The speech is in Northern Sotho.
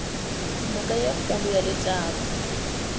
noka ye kgolo ya letaba